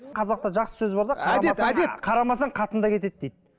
қазақта жақсы сөз бар да қарамасаң қатын да кетеді дейді